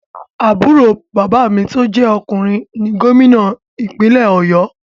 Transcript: Àbúrò bàbá mi tó jẹ ọkùnrin ni gómìnà ìpínlè ọ̀yọ́.